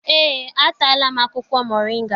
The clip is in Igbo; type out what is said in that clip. Eé, ataala m akwụkwọ moringa.